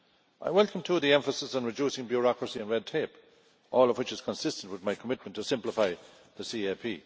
I welcome, too, the emphasis on reducing bureaucracy and red tape, all of which is consistent with my commitment to simplify the CAP.